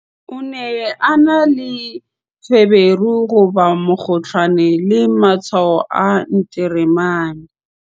o ne a na le feberu, mokgohlane le matshwao a nteremane